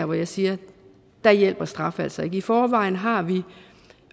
hvor jeg siger at der hjælper straf altså ikke i forvejen har vi